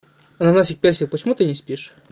ананасик персик почему ты не спишь